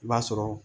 I b'a sɔrɔ